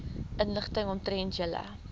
inligting omtrent julle